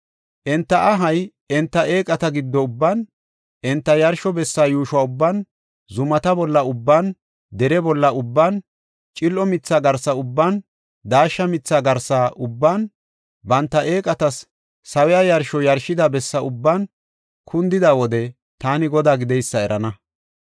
Enta ahay enta eeqata giddo ubban, enta yarsho bessa yuusho ubban, zumata bolla ubban, dere bolla ubban, cil7o mitha garsa ubban, daashsha mitha garsa ubban, banta eeqatas sawiya yarsho yarshida bessa ubban kundida wode taani Godaa gideysa erana.